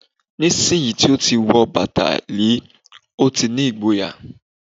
nísìnyí tí ó ti wọ bàtà líe, ó ti ní ìgboyà